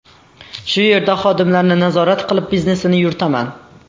Shu yerda xodimlarni nazorat qilib, biznesini yuritaman.